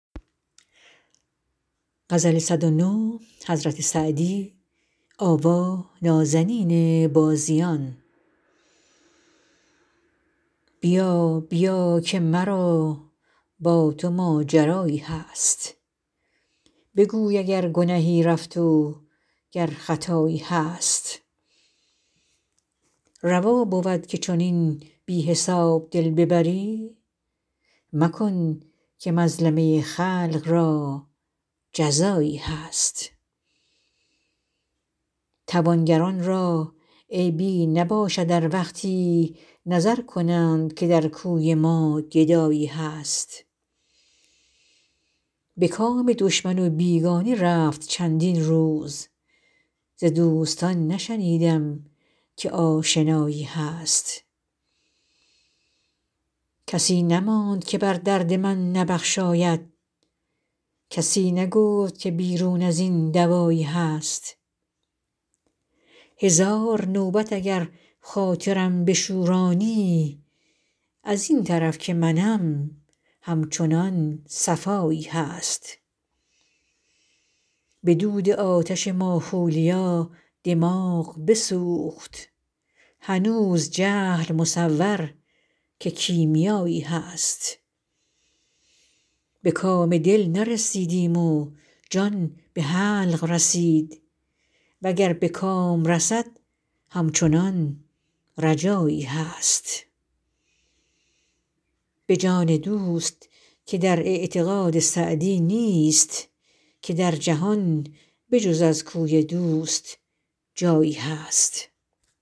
بیا بیا که مرا با تو ماجرایی هست بگوی اگر گنهی رفت و گر خطایی هست روا بود که چنین بی حساب دل ببری مکن که مظلمه خلق را جزایی هست توانگران را عیبی نباشد ار وقتی نظر کنند که در کوی ما گدایی هست به کام دشمن و بیگانه رفت چندین روز ز دوستان نشنیدم که آشنایی هست کسی نماند که بر درد من نبخشاید کسی نگفت که بیرون از این دوایی هست هزار نوبت اگر خاطرم بشورانی از این طرف که منم همچنان صفایی هست به دود آتش ماخولیا دماغ بسوخت هنوز جهل مصور که کیمیایی هست به کام دل نرسیدیم و جان به حلق رسید و گر به کام رسد همچنان رجایی هست به جان دوست که در اعتقاد سعدی نیست که در جهان به جز از کوی دوست جایی هست